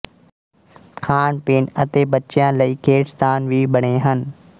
ਖਾਣਪੀਣ ਅਤੇ ਬੱਚਿਆਂ ਲਈ ਖੇਡਸਥਾਨ ਵੀ ਬਣੇ ਹਨ